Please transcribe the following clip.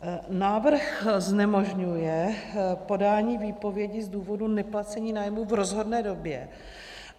Návrh znemožňuje podání výpovědi z důvodu neplacení nájmu v rozhodné době.